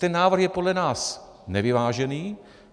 Ten návrh je podle nás nevyvážený.